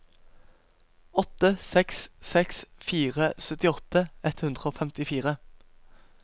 åtte seks seks fire syttiåtte ett hundre og femtifire